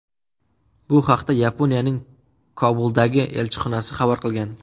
Bu haqda Yaponiyaning Kobuldagi elchixonasi xabar qilgan .